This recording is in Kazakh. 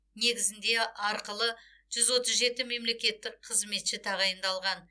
негізінде арқылы жүз отыз жеті мемлекеттік қызметші тағайындалған